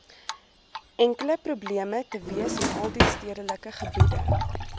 enkele probleem teweesinaldiestedelikegebiede